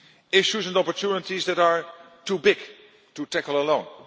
Issues and opportunities that are too big to tackle alone.